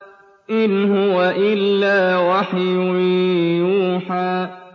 إِنْ هُوَ إِلَّا وَحْيٌ يُوحَىٰ